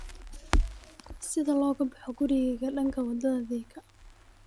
sida looga baxo gurigayga dhanka wadada thika